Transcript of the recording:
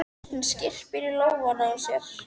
Hún skyrpir í lófana á sér.